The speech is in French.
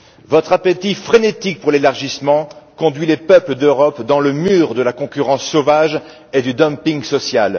Votre appétit frénétique pour l'élargissement conduit les peuples d'Europe dans le mur de la concurrence sauvage et du dumping social.